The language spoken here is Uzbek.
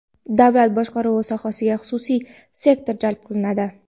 Davlat boshqaruvi sohasiga xususiy sektor jalb qilinadi.